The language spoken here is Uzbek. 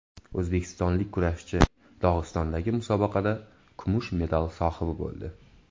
O‘zbekistonlik kurashchi Dog‘istondagi musobaqada kumush medal sohibi bo‘ldi.